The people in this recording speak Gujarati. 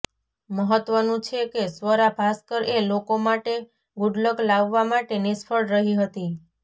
મહત્તવનું છે કે સ્વરા ભાસ્કર એ લોકો માટે ગુડલક લાવવા માટે નિષ્ફળ રહી હતી